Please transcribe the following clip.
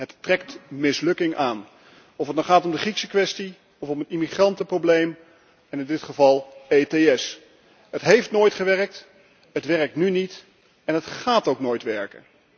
Ze trekt mislukking aan, of het nou gaat om de Griekse kwestie of om het immigrantenprobleem, en in dit geval ETS. Het heeft nooit gewerkt, het werkt nu niet en het gaat ook nooit werken.